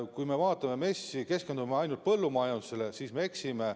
Kui me vaatame MES-i ja keskendume ainult põllumajandusele, siis me eksime.